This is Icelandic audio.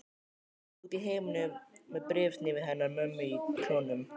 Út í himininn með bréfsnifsið hennar mömmu í klónum.